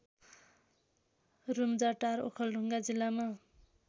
रूम्जाटार ओखलढुङ्गा जिल्लामा